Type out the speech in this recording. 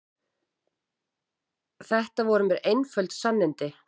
Þetta voru mér einföld sannindi.